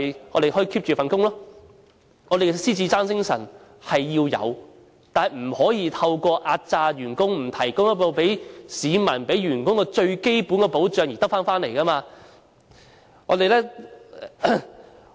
我們要有獅子山精神，但不可以透過壓榨員工、不向市民及員工提供最基本的保障而得來。